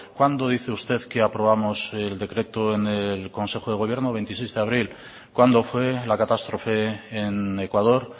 cuándo dice usted que aprobamos el decreto en el consejo de gobierno veintiseis de abril cuándo fue la catástrofe en ecuador